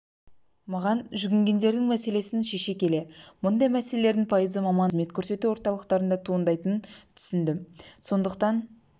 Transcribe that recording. маған жүгінгендердің мәселесін шеше келе мұндай мәселелердің пайызы мамандандырылған халыққа қызмет көрсету орталықтарында туындайтынын түсіндім сондықтан